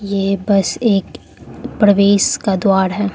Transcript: ये बस एक प्रवेश का द्वार है।